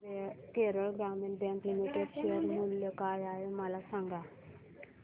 Kerala Gramin bank limited share मूल्य काय आहे मला सांगा